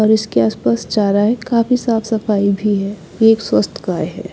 और इसके आसपास चारा है काफी साफ सफाई भी है ये एक स्वस्थ गाय है।